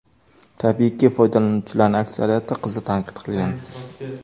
Tabiiyki, foydalanuvchilarning aksariyati qizni tanqid qilgan.